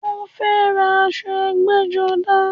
Mo fẹ́ ra aṣọ ẹgbẹ́-jọdá.